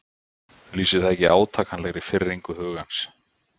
Lýsir það ekki átakanlegri firringu hugans?